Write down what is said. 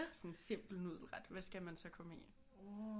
Sådan en simpel nudelret hvad skal man så komme i